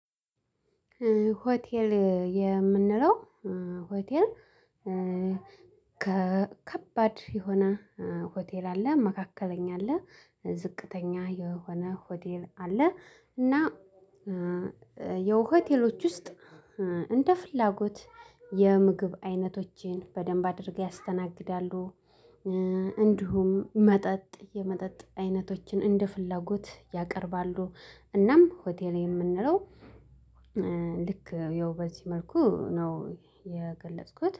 ሆቴል የምንለው ሆቴል። ከከባድ የሆነ ሆቴል አለ መካከለኛ አለ ዝቅተኛ የሆነ ሆቴል አለ። እና የሆቴሎች ውስጥ እንደ ፍላጎት የምግብ አይነቶችን በደንብ አድርገው ያስተናግዳሉ። እንዲሁም መጠጥ የመጠጥ አይነቶችን እንደ ፍላጎት ያቀርባሉ። እናም ሆቴል የምንለው ልክ ያው በዚህ መልኩ ነው የገለጽኩት